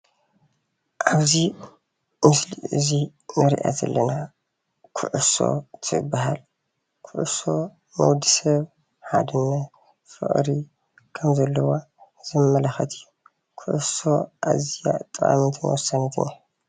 አብዚ ምስሊ እዚ እንሪአ ዘለና ኩዕሶ ትበሃል ፤ ኩዕሶ ንወድሰብ ሓድነት ፍቅሪ ከም ዘለዋ ዘመላክት እዩ። ኩዕሶ አዝያ ጠቃሚትን ወሳኒትን እያ።